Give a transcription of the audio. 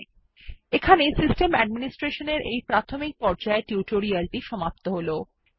এখানেই basics of system administration সংক্রান্ত এই টিউটোরিয়াল টি সমাপ্ত হলো